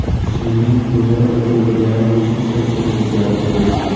Singling o‘zini o‘zi o‘ldirgani bo‘yicha surishtiruv ketyapti, dedi.